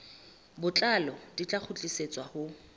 botlalo di tla kgutlisetswa ho